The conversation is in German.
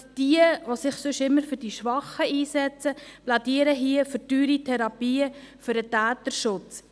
Jene, die sich sonst immer für die Schwachen einsetzen, plädieren hier für teure Therapien, für den Täterschutz.